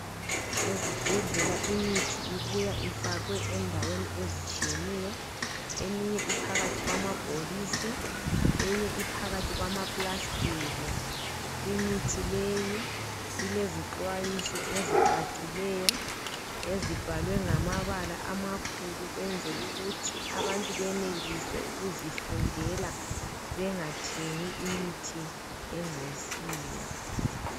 Ezibhedlela imithi ibuya ifakwe endaweni ezitshiyeneyo. Eminye phakathi kwamabhokisi eminye iphakathi kwama plastiki. Imithi le ilezixwayiso ezicacileyo ezibhalwe ngamabala amakhulu ukunzela ukuthi abantu benelise ukuzifundela bengathengi imithi engasiyo.